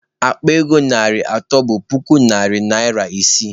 Akpa ego narị atọ bụ puku narị naịra isii.